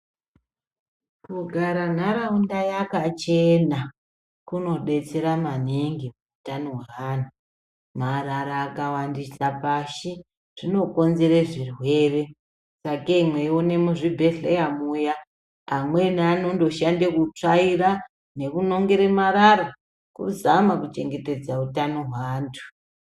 Kugara nharaunda yakachena, kunodetsera maningi utano hweana, marara akawandisa pashi, zvinokonzere zvirwere, kakeyi mweyione muzvibhedhleya muya, amweni anondoshande kutsvaira nekunongera marara kuzama kuchengetedza utano hweantu.